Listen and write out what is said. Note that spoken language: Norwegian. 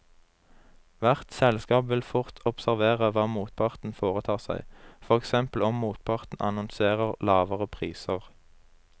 Hvert selskap vil fort observere hva motparten foretar seg, for eksempel om motparten annonserer lavere priser.